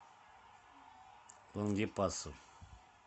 лангепасу